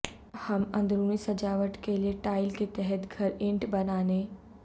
ہم اندرونی سجاوٹ کے لئے ٹائل کے تحت گھر اینٹ بنانے